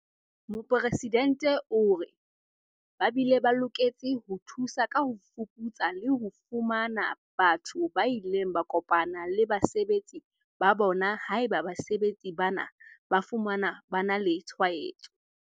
Mopresidente o re, "Ba bile ba loketse ho thusa ka ho fuputsa le ho fumana batho ba ileng ba kopana le basebetsi ba bona haeba basebetsi bana ba fumanwa ba na le tshwaetso."